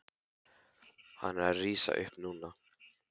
Hann er að rísa upp núna.